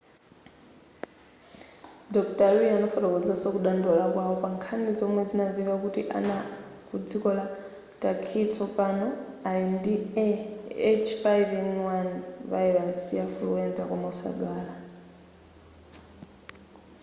dr. lee anafotokozanso kudandaula kwawo pankhani zomwe zinamveka kuti ana ku dziko la turkey tsopano ali ndi a h5n1 virus ya fuluwenza koma osadwala